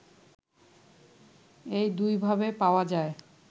এই দুইভাবে পাওয়া যায়